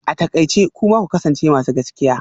A takaice kuma ku kasance masu gaskiya